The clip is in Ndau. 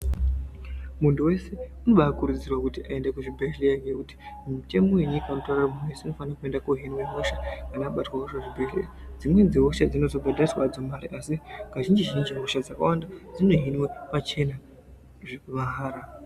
Muntu wese anokurudzirwa kuti aende kuzvibhehlera ngekuti mutemo wenyika unotaura kuti munhu wese unofana kohinwa hosha kana abatwawo kuzvibhehlera dzimweni hosha dzinozobhadhariswa hadzo mari asi kazhinji zhinji hosha dzakawanda dzinohinwa pachena mahara.